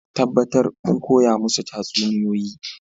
Tabbatar kun koya musu tatsuniyoyi